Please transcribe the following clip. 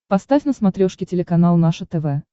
поставь на смотрешке телеканал наше тв